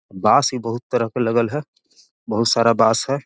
बाँस भी बहुत तरह के लगल है बहुत सारा बाँस हैI